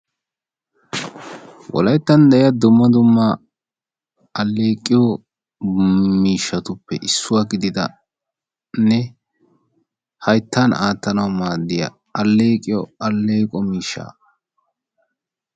Woyttan de'yaa dumma dumma aleqqiyoo mishshatuppe issuwaa gididdanne hayttan aattanawu maadiyaa aleqqiyo aleqqoy miishsha.